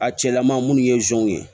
A cɛlama munnu ye zonw ye